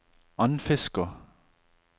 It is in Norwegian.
Andfiskå